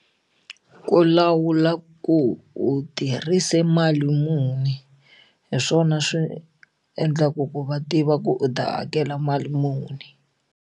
Ku lawula ku u tirhise mali muni hi swona swi endlaka ku va tiva ku u ta hakela mali muni.